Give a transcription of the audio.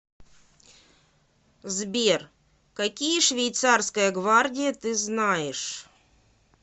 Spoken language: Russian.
сбер какие швейцарская гвардия ты знаешь